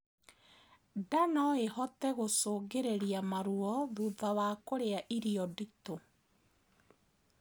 Ndaa noĩhote gũcũngĩrĩrĩa maruo thutha wa kurĩa irio nditu